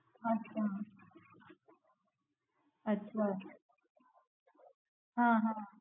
અચ્છા અચ્છા હમ